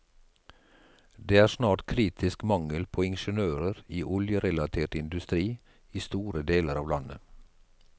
Det er snart kritisk mangel på ingeniører i oljerelatert industri i store deler av landet.